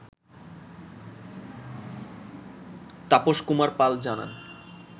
তাপস কুমার পাল জানান